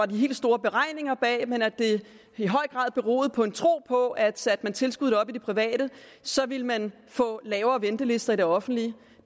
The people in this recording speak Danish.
de helt store beregninger bag men at det i høj grad beroede på en tro på at satte man tilskuddene op i det private så ville man få lavere ventelister i det offentlige